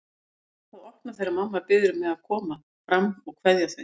Neita að opna þegar mamma biður mig að koma fram að kveðja þau.